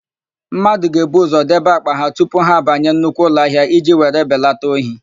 Mmadụ ga-ebu ụzọ debe àkpà ha tupu ha abanye nnukwu ụlọahịa iji were belata ohi.